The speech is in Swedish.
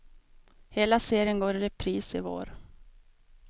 Hela serien går i repris i vår.